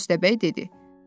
Köstəbək dedi.